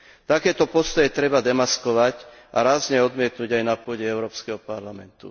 Takéto postoje treba demaskovať a rázne odmietnuť aj na pôde Európskeho parlamentu.